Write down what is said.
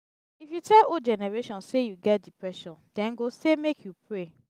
if you tell old generation sey you get depression dem go sey make you pray